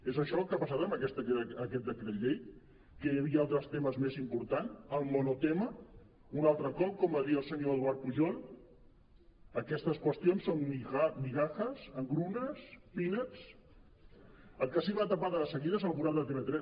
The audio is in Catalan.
és això el que ha passat amb aquest decret llei que hi havia altres temes més important el monotema un altre cop com va dir el senyor edu·ard pujol aquestes qüestions són migajas engrunes peanutsel que sí que va tapar de seguida és el forat de tv3